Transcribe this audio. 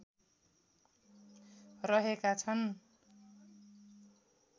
रहेका छन।